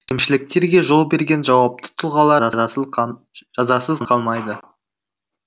кемшіліктерге жол берген жауапты тұлғалар жазасыз қалмайды